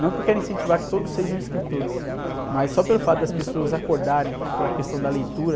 Não que eu queira incentivar que todos sejam escritores, mas só pelo fato das pessoas acordarem pela questão da leitura,